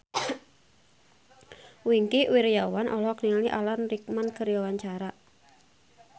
Wingky Wiryawan olohok ningali Alan Rickman keur diwawancara